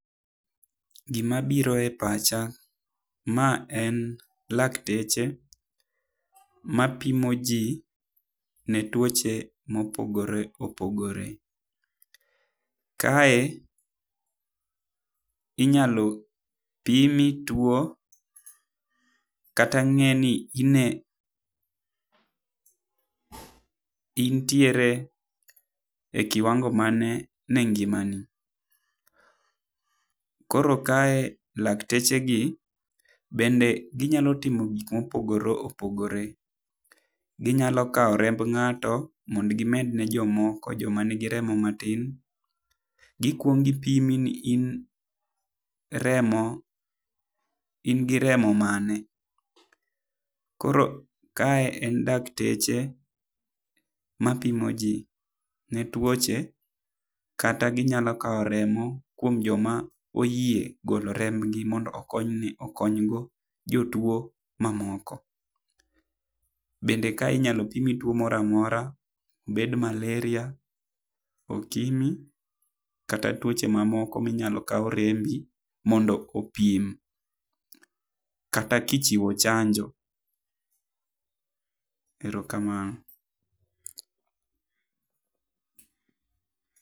Gi ma biro e pacha, ma en lakteche ma pimo ji ne tuoche ma opogore opogore. Kae inyalo pimi tuo ka ng'e ni in tiere e kiwango mane e ngima ni. Koro kae lakteche gi bende gi nyalo timo gik ma opogore gopogore. Gi nyalo kao remb ngato mondo gi med ne jo moko jo ma ni gi remo ma tin. Gi kuong gi pimo ni in gi remo mane. Koro kae en lakteche ma pimo ji ne tuoche kata gi nyalo kao remo kuom jo ma oyie golo remb gi mondo okony ni okony go jotuo ma moko. Bende kae inyalo pimi tuo moro amora obed malaria ,okimwi kata tuoche ma moko ma inyalo kaw rembi mondo opim ki ipimo chanjo. erokamano.